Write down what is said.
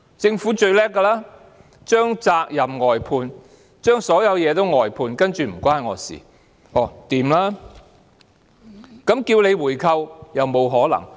政府最擅長將責任外判，將所有東西外判，接着便表示"與我無關"。